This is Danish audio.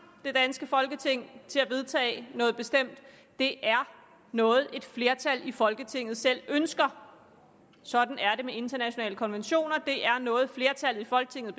det danske folketing til at vedtage noget bestemt det er noget et flertal i folketinget selv ønsker sådan er det med internationale konventioner det er noget flertallet i folketinget